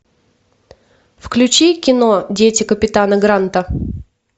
включи кино дети капитана гранта